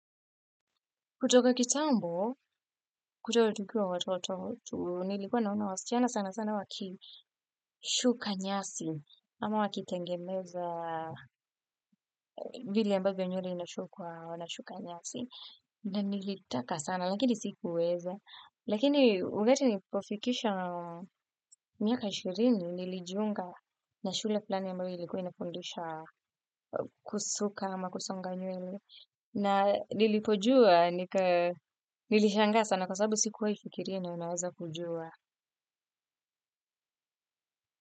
Kutoka kitambo, kutoka tukiwa watoto, nilikuwa naona wasichana sana sana wakishuka nyasi, ama waki tengeneza vile ambayo nywele inashukwa na wanasuka nyasi, na nilitaka sana, lakini sikuweza. Lakini wakati nilipo fikisha miaka ishirini nilijiunga na shule fullani ambayo ilikuwa inafundisha kusuka ama kusonga nywele. Na nilipojua nilishangaa sana kwasabu sikuwahi fikiria nina weza kujua.